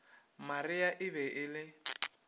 maria e be e le